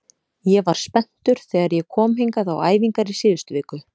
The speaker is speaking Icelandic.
Ég var spenntur þegar ég kom hingað á æfingar í síðustu viku.